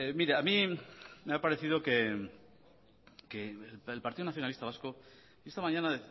mire a mi me ha parecido que el partido nacionalista vasco esta mañana